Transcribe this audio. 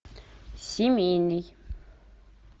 семейный